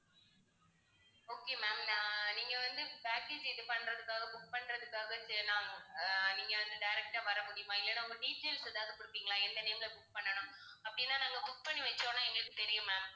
okay ma'am நான் நீங்க வந்து package இது பண்றதுக்காக book பண்றதுக்காகச் அஹ் நீங்க வந்து direct ஆ வர முடியுமா இல்லனா உங்க details ஏதாவது கொடுப்பீங்களா எந்த name ல book பண்ணணும் அப்படின்னா நாங்க book பண்ணி வச்சோம்ன்னா எங்களுக்குத் தெரியும் ma'am